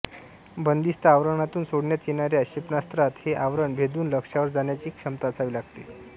बंदिस्त आवरणातून सोडण्यात येणाऱ्या क्षेपणास्त्रात हे आवरण भेदून लक्ष्यावर जाण्याची क्षमता असावी लागते